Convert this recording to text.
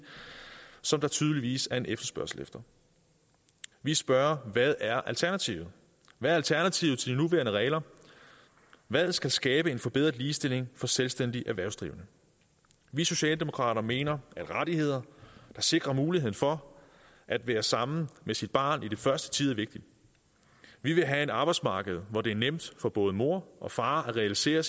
som der tydeligvis er en efterspørgsel efter vi spørger hvad er alternativet hvad er alternativet til de nuværende regler hvad skal skabe en forbedret ligestilling for selvstændigt erhvervsdrivende vi socialdemokrater mener at rettigheder der sikrer muligheden for at være sammen med sit barn i den første tid er vigtige vi vil have et arbejdsmarked hvor det er nemt for både mor og far at realisere